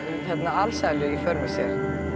alsælu í för með sér